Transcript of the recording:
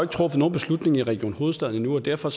truffet nogen beslutning i region hovedstaden endnu og derfor